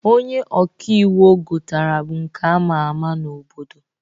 Onye ọka iwu o gotara bụ nke ama ama n'obodo.